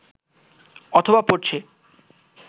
অথবা পড়ছে